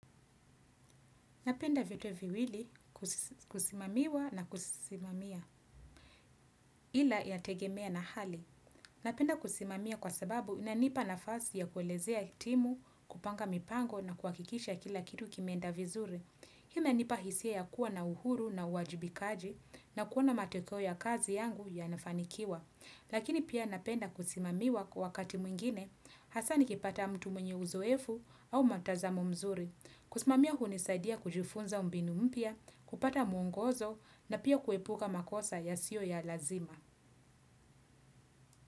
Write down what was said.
Napenda vitu viwili kusimamiwa na kusimamia ila yategemea na hali. Napenda kusimamia kwa sababu inanipa nafasi ya kuelezea timu, kupanga mipango na kuhakikisha kila kitu kimeenda vizuri. Hii inanipa hisia ya kuwa na uhuru na uwajibikaji na kuona mateko ya kazi yangu yanafanikiwa. Lakini pia napenda kusimamiwa kwa wakati mwingine hasa nikipata mtu mwenye uzoefu au mtazamo mzuri. Kusimamia hunisaidia kujifunza mbinu mpya, kupata mungozo na pia kuepuka makosa yasio ya lazima.